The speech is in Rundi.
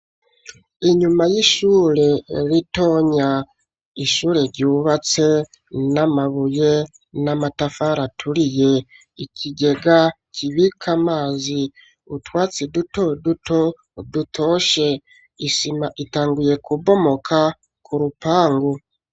Inyuma y'ishure ritonya ,ishure ryubatse n'amabuye n'amatafari aturiye. Ikigega kibika amazi, utwatsi dutoduto dutoshe ,isima itanguye kubomoka ku rupangu.